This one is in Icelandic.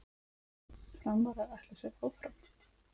Framarar ætla sér áfram